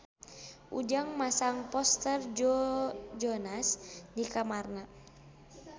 Ujang masang poster Joe Jonas di kamarna